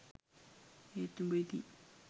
ඒත් උඹ ඉතින්